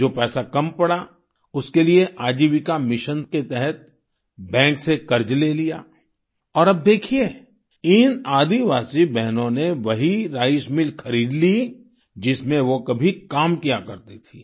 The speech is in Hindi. जो पैसा कम पड़ा उसके लिए आजीविका मिशन के तहत बैंक से कर्ज ले लिया और अब देखिये इन आदिवासी बहनों ने वही राइस मिल खरीद ली जिसमें वो कभी काम किया करती थीं